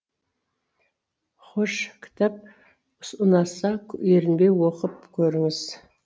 хош кітап ұнаса ерінбей оқып көріңіз